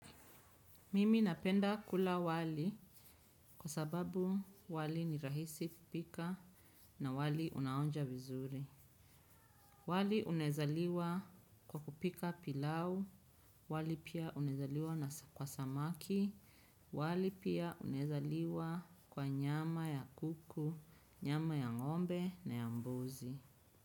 Mimi napenda kula wali kwa sababu wali ni rahisi kupika na wali unaonja vizuri. Wali unaweza liwa kwa kupika pilau, wali pia unawezaliwa kwa samaki, wali pia unawezaliwa kwa nyama ya kuku, nyama ya ngombe na ya mbuzi.